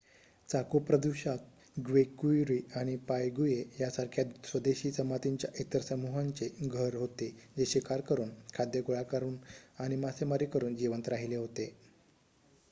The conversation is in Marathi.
चाको प्रदेशात ग्वेक्यूरी आणि पायगुए यासारख्या स्वदेशी जमातींच्या इतर समूहांचे घर होते जे शिकार करून खाद्य गोळा करून आणि मासेमारी करुन जिवंत राहिले होते